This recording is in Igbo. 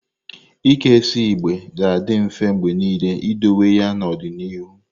Ike isi igbe ga-adị mfe mgbe niile idowe ya n'ọdịnihu.